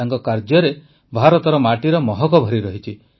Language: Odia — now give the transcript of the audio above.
ତାଙ୍କ କାର୍ଯ୍ୟରେ ଭାରତର ମାଟିର ମହକ ଭରିରହିଛି